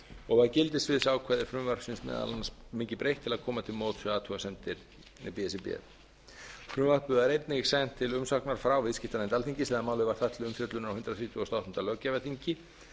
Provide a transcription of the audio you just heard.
og var gildissviðsákvæði frumvarpsins meðal annars mikið breytt til að komast til móts við athugasemdir b s r b frumvarpi var einnig sent til umsagnar frá viðskiptanefnd alþingis þegar málið var þar til umfjöllunar á hundrað þrítugasta og áttunda löggjafarþingi